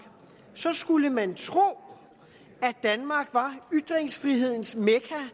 skulle man tro at danmark var ytringsfrihedens mekka